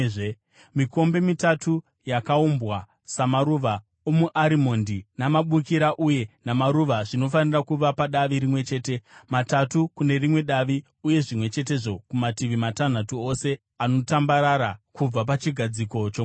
Mikombe mitatu yakaumbwa samaruva omuarimondi namabukira uye namaruva zvinofanira kuva padavi rimwe chete, matatu kune rimwe davi, uye zvimwe chetezvo kumativi matanhatu ose anotambarara kubva pachigadziko chomwenje.